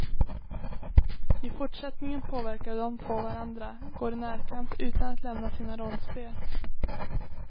I fortsättningen påverkar de två varandra, går i närkamp utan att lämna sina rollspel.